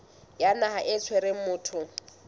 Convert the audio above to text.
ya naha e tshwereng motho